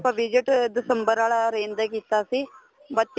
ਆਪਾਂ visit December ਵਾਲਾ orange ਤੇ ਕੀਤਾ ਸੀ ਬੱਚਿਆਂ